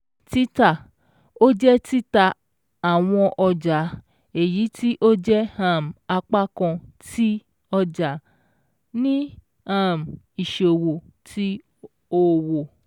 T̀ítà: Ó jé títà àwọn ọjà èyítí ó jẹ́ um apákan tí ọja-ní um -ìṣòwò ti òwò